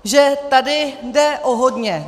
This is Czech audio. ... že tady jde o hodně.